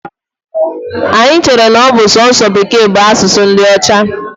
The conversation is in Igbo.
Anyi chere n'ọbụ sọọsọ Bekee bu asụsụ ndi Ocha.